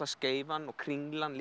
Skeifan og Kringlan